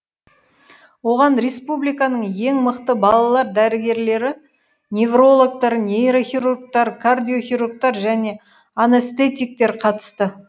оған республиканың ең мықты балалар дәрігерлері неврологтар нейрохирургтар кардиохирургтар және анестетиктер қатысты